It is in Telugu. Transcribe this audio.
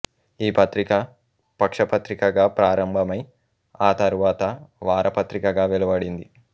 ఈ పత్రిక పక్షపత్రికగా ప్రారంభమై ఆతరువాత వార పత్రికగా వెలువడింది